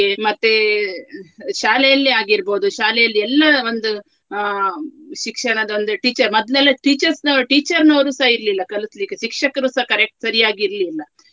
ಮತ್ತೇ ಶಾಲೆಯಲ್ಲಿಯೇ ಆಗಿರ್ಬಹುದು ಶಾಲೆಯಲ್ಲಿ ಎಲ್ಲಾ ಒಂದು ಆ ಶಿಕ್ಷಣದೊಂದು teacher ಮೊದ್ಲೆಲ್ಲ teachers ನವರು teacher ನವರೂ ಸಹ ಇರ್ಲಿಲ್ಲ ಕಳಿಸ್ಲಿಕ್ಕೆ ಶಿಕ್ಷಕರು ಸಹ correct ಸರಿಯಾಗಿ ಇರ್ಲಿಲ್ಲ.